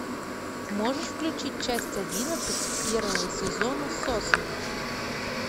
можешь включить часть одиннадцать первого сезона сосны